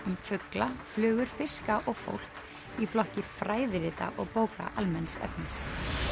um fugla flugur fiska og fólk í flokki fræðirita og bóka almenns efnis